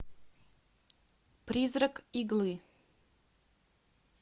призрак иглы